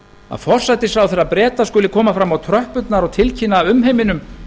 að forsætisráðherra breta skuli koma fram á tröppurnar og tilkynna umheiminum